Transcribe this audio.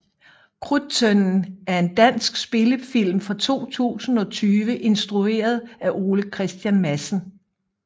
Krudttønden er en dansk spillefilm fra 2020 instrueret af Ole Christian Madsen